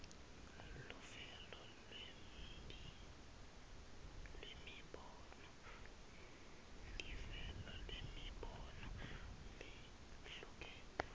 luvelo lwemibono lehlukene